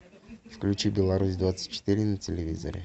включи беларусь двадцать четыре на телевизоре